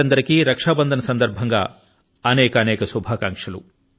దేశ రక్షా బంధన్ సందర్భం లో ప్రజలందరికీ అనేకానేక శుభాకాంక్షలు